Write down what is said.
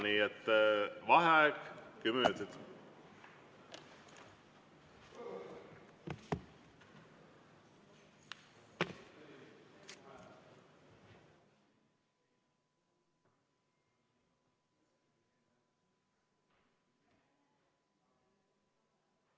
Nii et vaheaeg kümme minutit.